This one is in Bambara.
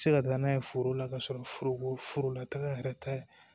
Se ka taa n'a ye foro la ka sɔrɔ foroko foro la ka yɛrɛ tɛ